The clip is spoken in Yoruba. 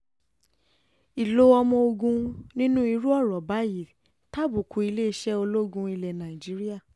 ìlò ọmọ ogun nínú irú ọ̀rọ̀ báyìí tàbùkù iléeṣẹ́ ológun ilẹ̀ nàìjíríà